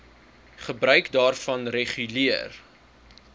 gebruik daarvan reguleer